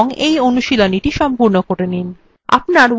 এখানে এই tutorialটি একটু থামান এবং এই অনুশীলনীটি সম্পূর্ণ করুন